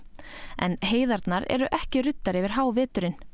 en heiðarnar eru ekki ruddar yfir háveturinn